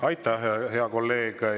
Aitäh, hea kolleeg!